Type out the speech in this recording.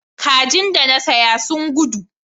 Kaji da na saya ta gudu